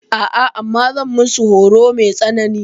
A'a, amma zan musu horo mai tsanani.